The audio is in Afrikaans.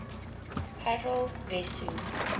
harold wesso